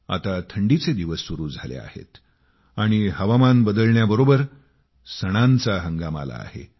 आता थंडीचे दिवस सुरु झाले आहेत आणि हवामान बदलण्याबरोबर सणांचा हंगाम आला आहे